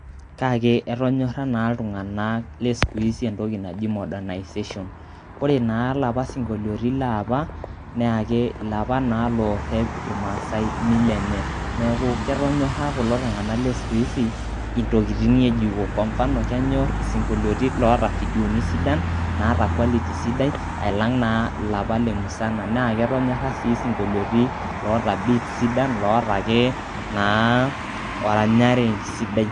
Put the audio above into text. Kake etonyorra naa iltung'anak le siku izi entoki naji modernization. Ore naa lapa sinkolioitin leapa, na ilapa na lorrep irmaasai mila enye. Neeku ketonyorra kulo tung'anak le siku izi ,intokiting' ng'ejuko. Kwa mfano ,kenyor isinkolioitin laata vidoni sidan, naata quality sidai, alang' naa ilapa le musana. Na ketonyorra si sinkolioitin loota beats sidan, loota ake naa oranyare sidai.